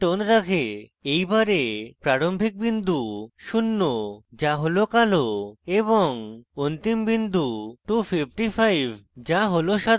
এই bar প্রারম্ভিক বিন্দু শূন্য the হল কালো এবং অন্তিম বিন্দু 255 the হল সাদা